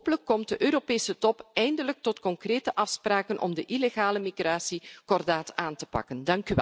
Hopelijk komt de Europese top eindelijk tot concrete afspraken om de illegale migratie kordaat aan te pakken.